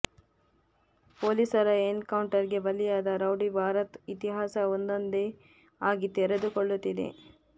ಪೊಲೀಸರ encounter ಗೆ ಬಲಿಯಾದ ರೌಡಿ ಭರತ್ ಇತಿಹಾಸ ಒಂದೊಂದೆ ಆಗಿ ತೆರೆದುಕೊಳ್ಳುತ್ತಿದೆ